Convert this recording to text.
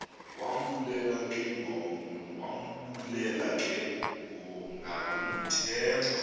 wambulela ke ngakumthemba